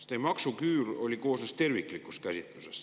See maksuküür ju terviklikust käsitlusest.